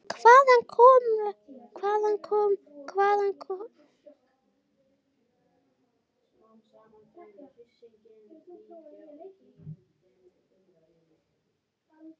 Hvaðan kom honum þekkingin og reynslan?